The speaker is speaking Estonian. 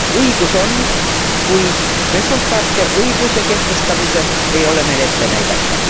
Õigus on, kuid resultaate õigluse kehtestamisel ei ole meil ette näidata.